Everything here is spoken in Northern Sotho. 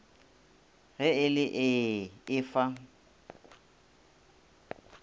ge e le ee efa